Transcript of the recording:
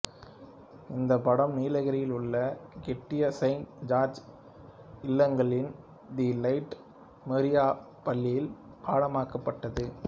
இந்த படம் நீலகிரியில் உள்ள கெட்டி செயின்ட் ஜார்ஜ் இல்லங்களின் தி லைட்லா மெமோரியல் பள்ளியில் படமாக்கப்பட்டது